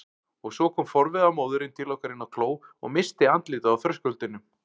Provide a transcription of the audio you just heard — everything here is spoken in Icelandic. Og svo kom forviða móðirin til okkar inn á kló og missti andlitið á þröskuldinum.